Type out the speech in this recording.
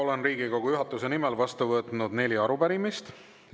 Olen Riigikogu juhatuse nimel vastu võtnud neli arupärimist.